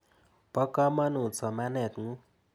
Po kamanut somanet ng'ung' .